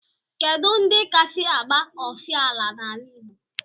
Kedu ndi kasi agba ofala n'ala igbo?